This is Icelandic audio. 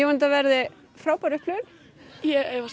þetta verði frábær upplifun ég efast